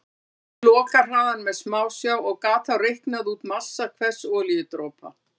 Hann mældi lokahraðann með smásjá og gat þá reiknað út massa hvers olíudropa.